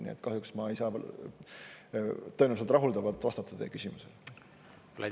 Nii et kahjuks ma tõenäoliselt rahuldavalt teie küsimusele ei vastanud.